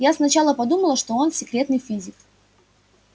я сначала подумала что он секретный физик